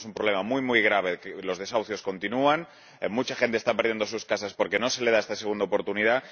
Tenemos un problema extremadamente grave los desahucios continúan, mucha gente está perdiendo sus casas porque no se le da esta segunda oportunidad.